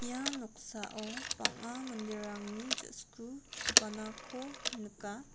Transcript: ia noksao bang·a manderangni ja·sku dipanako nika.